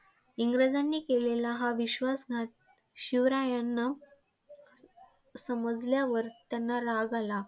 इंग्रजांनी केलेला हा विश्वासघात शिवरायांना समजल्यावर त्यांना राग आला.